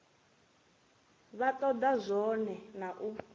vha toda zwone na u